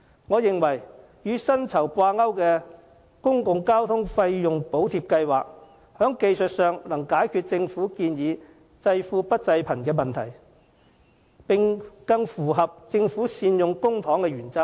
我認為與薪酬掛鈎的公共交通費用補貼計劃，技術上能解決政府方案濟富不濟貧的問題，並更符合政府善用公帑的原則。